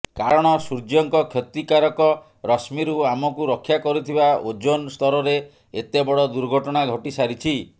କାରଣ ସୂର୍ଯ୍ୟଙ୍କ କ୍ଷତିକାରକ ରଶ୍ମୀରୁ ଆମକୁ ରକ୍ଷା କରୁଥିବା ଓଜୋନ୍ ସ୍ତରରେ ଏତେ ବଡ ଦୁର୍ଘଟଣା ଘଟିସାରିଛି